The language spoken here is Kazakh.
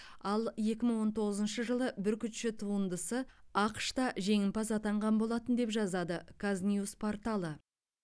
ал екі мың он тоғызыншы жылы бүркітші туындысы ақш та жеңімпаз атанған болатын деп жазады казньюс порталы